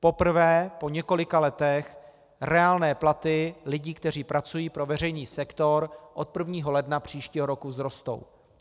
Poprvé po několika letech reálné platy lidí, kteří pracují pro veřejný sektor, od 1. ledna příštího roku vzrostou.